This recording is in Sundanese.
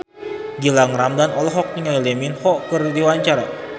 Gilang Ramadan olohok ningali Lee Min Ho keur diwawancara